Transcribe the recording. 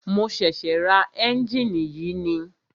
Mo ṣẹ̀ṣẹ̀ ra ẹ́njìnì yìí ni.